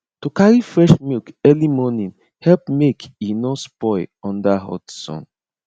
to carry fresh milk early morning help make e no spoil under hot sun